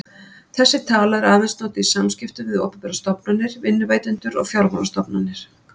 Þessi tala er aðeins notuð í samskiptum við opinberar stofnanir, vinnuveitendur og fjármálastofnanir.